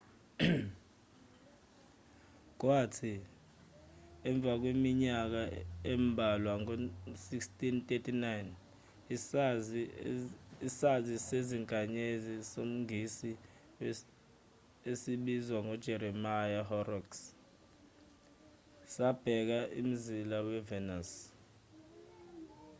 kwathi emva kweminyaka embalwa ngo-1639 isazi sezinkanyezi somngisi esibizwa ngo-jeremiya horrocks sabheka umzila we-venus